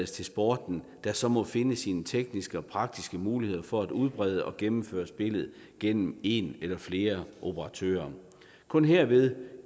til sporten der så må finde sine tekniske og praktiske muligheder for at udbrede og gennemføre spillet gennem en eller flere operatører kun herved